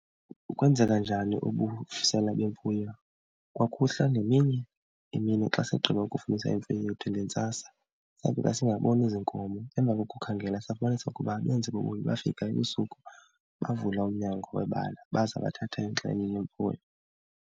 Kwenzeka njani ubusela bemfuyo? Kwakuhla ngemini emini, xa sigqiba ukufunisa imfuyo yethu ngentsasa safika singaboni zinkomo. Emva kokukhangela safumanisa ukuba abenzi bobubi bafika ebusuku bavula umnyango webala baza bathatha ingxenye yemfuyo.